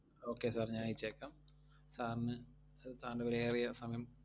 Okay sir ഞാൻ അയച്ചേക്കാം. sir ന് sir ൻറെ വിലയേറിയ സമയം,